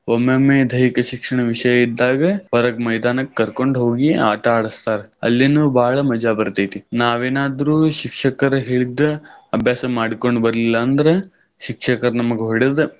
ಒಮ್ಮೆಮ್ಮೆ ದೈಹಿಕ ಶಿಕ್ಷಣ ವಿಷಯ ಇದ್ದಾಗ ಹೊರಗ್ ಮೈದಾನಕ್ ಕರ್ಕೊಂಡ್ ಹೋಗಿ ಆಟ ಆಡಸ್ತಾರ. ಅಲ್ಲಿನೂ ಬಾಳ ಮಜಾ ಬರತೈತಿ. ನಾವೇನಾದ್ರು ಶಿಕ್ಷಕರ್ ಹೇಳಿದ್ದ ಅಭ್ಯಾಸಾ ಮಾಡ್ಕೊಂಡ್ ಬರ್ಲಿಲ್ಲಾ ಅಂದ್ರ ಶಿಕ್ಷಕರ ನಮಗ್ ಹೊಡದ್.